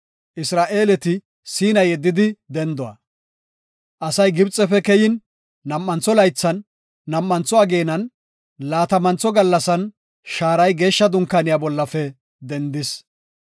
Asay Gibxefe keyin, nam7antho laythan, nam7antho ageenan, laatamantho gallasan, shaaray Geeshsha Dunkaaniya bollafe dendis.